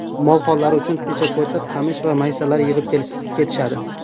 Mol-hollari uchun pechako‘ti, qamish va maysalar yig‘ib ketishadi.